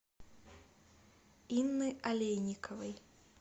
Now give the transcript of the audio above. инны олейниковой